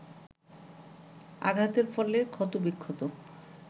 আঘাতের ফলে ক্ষতবিক্ষত